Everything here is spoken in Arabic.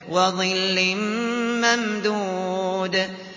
وَظِلٍّ مَّمْدُودٍ